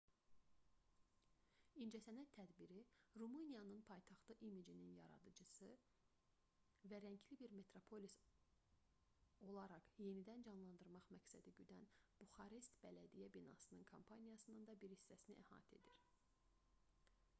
i̇ncəsənət tədbiri rumıniyanın paytaxtı imicini yaradıcı və rəngli bir metropolis olaraq yenidən canlandırmaq məqsədi güdən buxarest bələdiyyə binasının kampaniyasının da bir hissəsinin təşkil edirdi